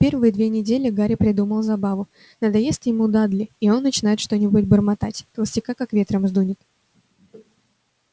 первые две недели гарри придумал забаву надоест ему дадли он и начнёт что-нибудь бормотать толстяка как ветром сдунет